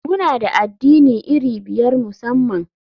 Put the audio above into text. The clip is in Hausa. Muna da addini iri biyar musamman.